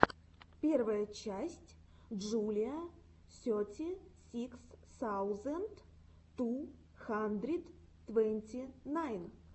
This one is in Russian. первая часть джулиа сети сикс саузенд ту хандрид твэнти найн